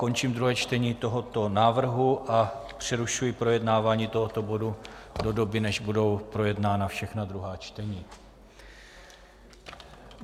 Končím druhé čtení tohoto návrhu a přerušuji projednávání tohoto bodu do doby, než budou projednána všechna druhá čtení.